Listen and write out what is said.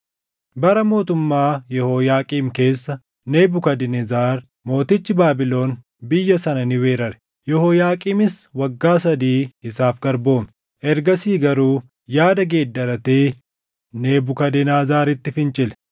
Bara mootummaa Yehooyaaqiim keessa Nebukadnezar mootichi Baabilon biyya sana ni weerare; Yehooyaaqiimis waggaa sadii isaaf garboome. Ergasii garuu yaada geeddaratee Nebukadnezaritti fincile.